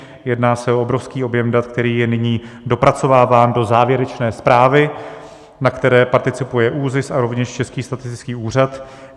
Jedná se o obrovský objem dat, který je nyní dopracováván do závěrečné zprávy, na které participuje ÚZIS a rovněž Český statistický úřad.